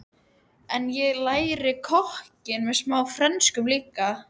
En ég lærði kokkinn og smá frönsku líka og.